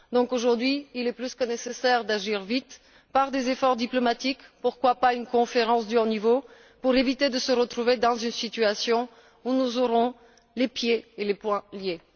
Donc, aujourd'hui, il est plus que nécessaire d'agir vite par des efforts diplomatiques pourquoi pas une conférence de haut niveau afin d'éviter de se retrouver dans une situation où nous aurons les pieds et les poings liés.